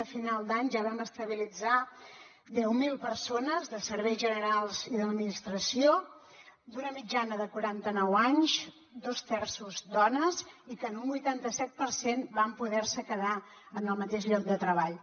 a final d’any ja vam estabilitzar deu mil persones de serveis generals i de l’administració d’una mitjana de quarantanou anys dos terços dones i que en un vuitantaset per cent van poderse quedar en el mateix lloc de treball